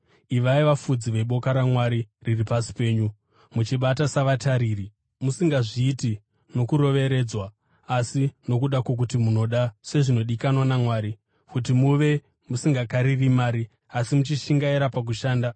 Ivai vafudzi veboka raMwari riri pasi penyu, muchibata savatariri, musingazviiti nokuroveredzwa, asi nokuda kwokuti munoda, sezvinodikanwa naMwari kuti muve; musingakariri mari, asi muchishingaira pakushanda;